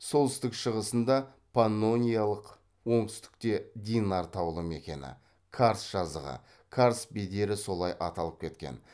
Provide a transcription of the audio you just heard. солтүстік шығысында паннониялық оңтүстікте динар таулы мекені карст жазығы карст бедері солай аталып кеткен